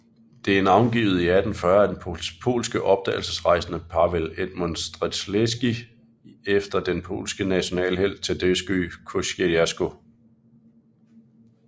Det er navngivet i 1840 af den polske opdagelsesrejsende Paweł Edmund Strzelecki efter den polske nationalhelt Tadeusz Kościuszko